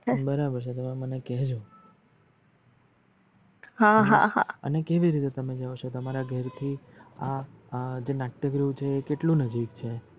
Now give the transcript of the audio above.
બરાબર છે તમે મને કહજો અને કેવી રીતે જાવ છો તમારા ઘરે થી આ આ જે નટકીયગૃહ છે આ કેટલું નજદીક છે?